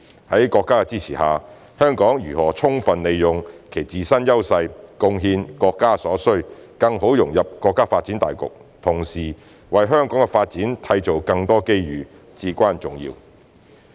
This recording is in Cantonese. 在國家的支持下，香港如何充分利用其自身優勢，貢獻國家所需，更好融入國家發展大局，同時為香港的發展締造更多機遇，至關重要。